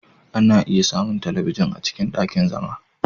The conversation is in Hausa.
Ana iya samun talabijin a cikin ɗakin zama.